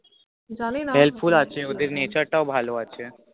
জানি না Help Full আছে ওদের nature তাও ভালো আছে